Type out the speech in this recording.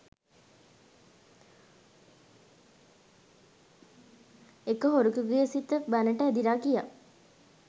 එක හොරෙකුගේ සිත බණට ඇදිලා ගියා